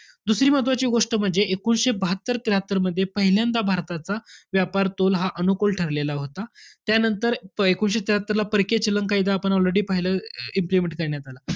दुसरी महत्वाची गोष्ट म्हणजे एकोणीसशे बहात्तर-त्र्याहत्तरमध्ये, पहिल्यांदा भारताचा व्यापार तोल हा अनुकूल ठरलेला होता. त्यानंतर एकोणीसशे त्र्याहात्तरला परकीय चलन कायदा हा आपण already पाही~ implement करण्यात आला.